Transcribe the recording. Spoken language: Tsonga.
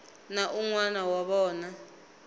na un wana wa vona